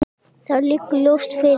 Það liggur ljóst fyrir.